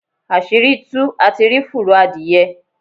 Asiri tuú, á tí rí fúrọ́ adiyẹ.